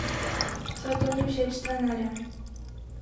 Saj to ni všeč trenerjem.